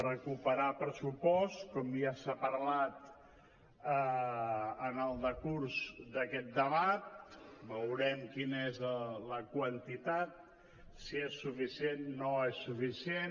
recuperar pressupost com ja s’ha parlat en el decurs d’aquest debat veurem quina és la quantitat si és suficient no és suficient